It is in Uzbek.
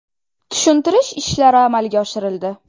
Tushuntirish ishlari amalga oshirildi.